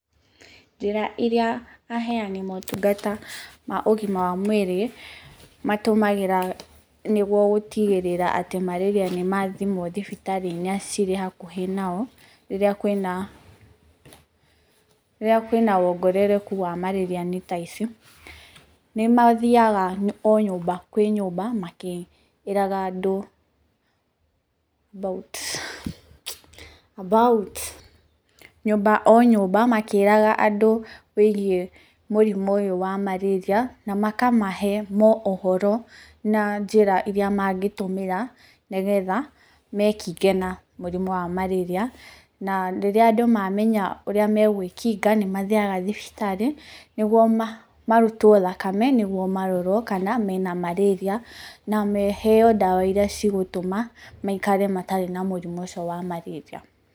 Njĩra iria aheani motungata ma ũgima wa mwĩrĩ matũmagĩra nĩguo gũtigĩrĩra atĩ marĩria nĩmathimwo thibitarĩ-inĩ iria cirĩ hakuhĩ nao rĩrĩa kwĩna, rĩrĩa kwĩna wongerereku wa marĩria nĩ ta ici, nĩmathiaga o nyũmba kwĩ nyũmba makĩĩraga andũ about about nyũmba kwĩ nyũmba makĩĩraga andũ wĩgiĩ mũrimũ ũyũ wa marĩria na makamahe mo ũhoro na njĩra iria mangĩtũmĩra nĩgetha mekinge na mũrimũ wa marĩria, na rĩrĩa andũ mamenya ũrĩa megwĩkinga nĩmathiaga thibitarĩ nĩguo marutwo thakame nĩguo marorwo kana mena marĩria na meheo ndawa iria cigũtũma maikare matarĩ na mũrimũ ũcio wa marĩria.